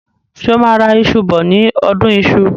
Ṣé o máa ra iṣù bọ ní ọdún iṣu?